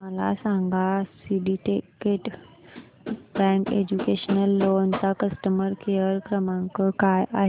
मला सांगा syndicate bank educational loan चा कस्टमर केअर क्रमांक काय आहे